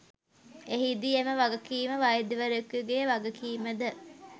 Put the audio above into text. එහිදී එම වගකිම වෛද්‍යවරයකුගේ වගකිමද